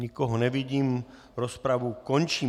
Nikoho nevidím, rozpravu končím.